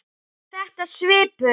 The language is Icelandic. Er þetta svipuð